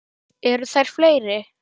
Eða eru þær fleiri?